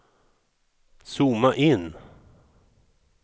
zooma in